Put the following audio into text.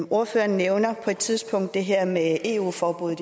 ordføreren nævnte på et tidspunkt det her med eu forbudet